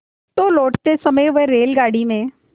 तो लौटते समय वह रेलगाडी में